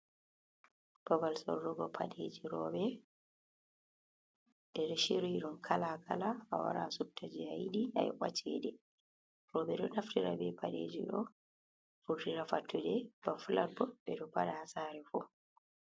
Babal sorrugo paɗe ji rooɓe der shiryi ɗum kalakala, awara subta jei ayiɗi ayoɓa cede, rooɓe ɗo naftira be paɗe ji ɗo vurtira fattude, ba flat bo ɓe ɗo paɗa ha saare fu.